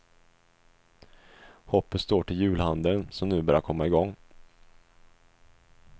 Hoppet står till julhandeln, som nu börjar komma i gång.